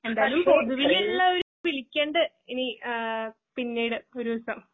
എന്തായാലും പൊതുവിലുള്ളവര് വിളിക്കണ്ട് ഇനി ഏഹ് പിന്നീട് ഒരൂസം.